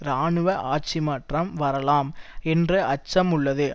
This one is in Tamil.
இராணுவ ஆட்சிமாற்றம் வரலாம் என்ற அச்சம் உள்ளது